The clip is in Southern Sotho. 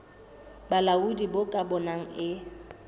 bolaodi bo ka bonang e